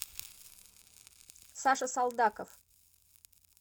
саша солдаков